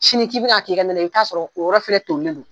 Sini k'i bɛn' k'i ka na la, i bi t'a sɔrɔ o yɔrɔ fana toilen don!